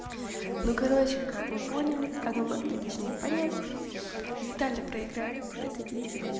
ну короче как вы поняли как вы могли точнее понять виталий проиграет в этой битве